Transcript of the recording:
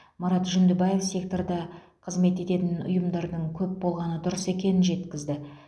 марат жүндібаев секторда қызмет ететін ұйымдардың көп болғаны дұрыс екенін жеткізді